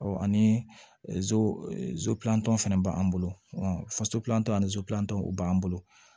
ani fɛnɛ b'an bolo faso plan ani tɔw b'an bolo